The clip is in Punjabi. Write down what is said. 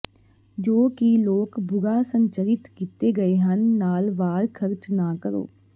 ਜੋ ਕਿ ਲੋਕ ਬੁਰਾ ਸੰਰਚਿਤ ਕੀਤੇ ਗਏ ਹਨ ਨਾਲ ਵਾਰ ਖਰਚ ਨਾ ਕਰੋ